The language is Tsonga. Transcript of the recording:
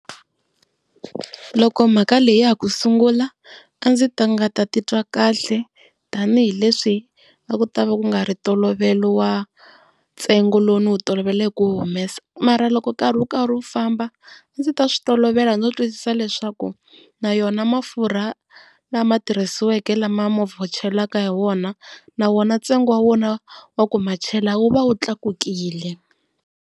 Loko mhaka leyi ya ha ku sungula a ndzi nga ta titwa kahle, tanihileswi a ku ta va kungari tolovela wa ntsengo lowu ni wu tolovele ku humesa. Mara loko nkarhi wu karhi wu famba a ndzi ta switolovela no twisisa leswaku na yona mafurha lama tirhisiweke lama movha wu chelaka ha wona na wona ntsengo wa wona wa ku machela wu va wu tlakukile.